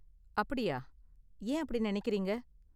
அப்படியா. ஏன் அப்படி நினைக்கறீங்க?